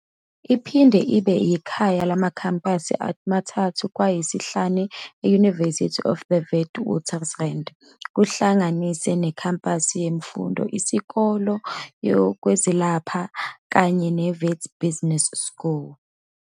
Iphinde ibe yikhaya lamakhempasi amathathu kwayisihlanu e-University of the Witwatersrand kuhlanganise nekhempasi lemfundo, Isikole sezokwelapha kanye ne-Wits Business School.